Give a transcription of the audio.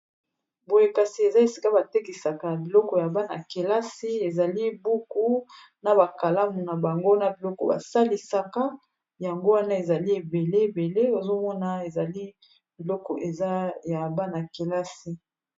Boye kasi eza esika ba tekisaka biloko ya bana-kelasi, ezali buku na ba kalamu na bango na biloko ba salisaka yango wana ezali ebele ebele ozomona ezali biloko eza ya bana-kelasi.